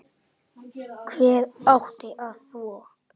Hver átti þá að þvo?